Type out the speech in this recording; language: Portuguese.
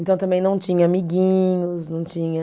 Então eu também não tinha amiguinhos, não tinha.